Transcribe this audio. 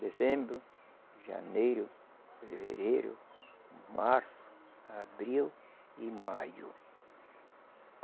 Dezembro, janeiro, fevereiro, março, abril e maio.